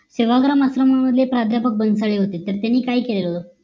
सेवाग्राम मसले म्हणून प्राध्यापक बन्सळे होते तर त्यांनी काय केलं